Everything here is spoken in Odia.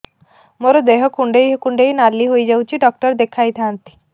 ମୋର ଦେହ କୁଣ୍ଡେଇ କୁଣ୍ଡେଇ ନାଲି ହୋଇଯାଉଛି ଡକ୍ଟର ଦେଖାଇ ଥାଆନ୍ତି